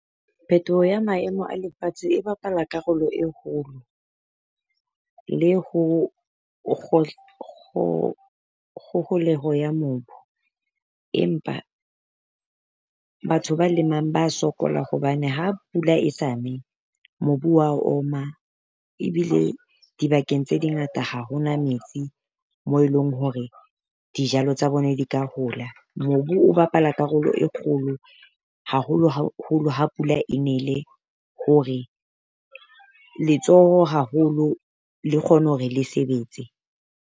Phetoho ya maemo a lefatshe e bapala karolo e kgolo le ho ya kgoholeho ya mobu. Empa batho ba lemang ba sokola hobane ha pula e sa ne, mobu wa oma. Ebile dibakeng tse dingata, ha ho na metsi mo eleng hore dijalo tsa bona di ka hola. Mobu o bapala karolo e kgolo haholo haholo ha pula e nele hore letsoho haholo le kgone hore le sebetse.